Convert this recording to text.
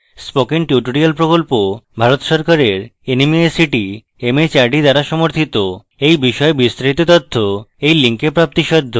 spoken tutorial প্রকল্প ভারত সরকারের nmeict mhrd দ্বারা সমর্থিত এই বিষয়ে বিস্তারিত তথ্য এই link প্রাপ্তিসাধ্য